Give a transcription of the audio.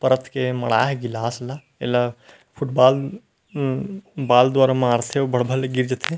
परत के मढा हे ग्लास ला एला फूटबाल अम्म बॉल द्वारा मारथे अउ भड़ भड़ ले गिर जथे।